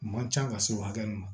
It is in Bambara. Man ca ka se o hakɛ min ma